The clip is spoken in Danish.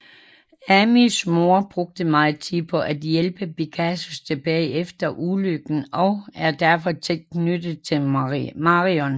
Amys mor brugte meget tid på at hjælpe Pegasus tilbage efter ulykken og er derfor tæt knyttet til Marion